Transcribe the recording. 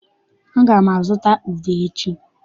Aga m azụta udu echi.